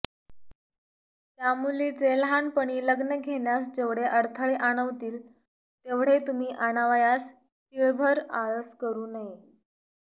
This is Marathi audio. त्या मुलीचे लहानपणी लग्न घेण्यास जेवढे अडथळे आणवतील तेवढे तुम्ही आणावयास तिळभर आळस करू नये